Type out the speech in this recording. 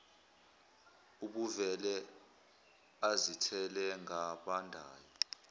ubevele azithele ngabandayo